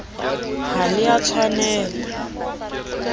ha le a tshwanel a